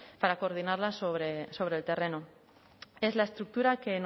para coordinarlas sobre el terreno es la estructura que